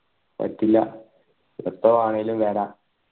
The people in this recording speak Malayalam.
പറ്റില്ല എപ്പോ വേണെങ്കില് വര